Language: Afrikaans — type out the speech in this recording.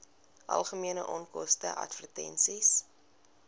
algemene onkoste advertensies